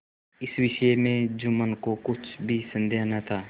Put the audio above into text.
इस विषय में जुम्मन को कुछ भी संदेह न था